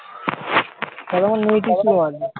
তাহলে তোমার net ই slow আছে।